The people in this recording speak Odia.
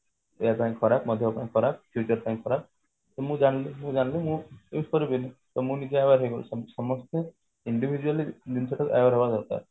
ଦେହ ପାଇଁ ଖରାପ ମୋ ଦେହ ପାଇଁ ଖରାପ future ପାଇଁ ଖରାପ ମୁଁ ଜାଣିଲି ମୁଁ ଜାଣିଲି ମୁଁ use କରିବିନି ତ ମୁଁ ନିଜେ aware ହେଇଗଲି ସେମତି ସମସ୍ତେ individually ଜିନିଷ ଟାକୁ aware ହବା ଦରାକର